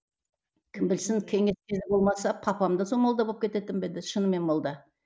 кім білсін болмаса папам да сол молда болып кететін бе еді шынымен молда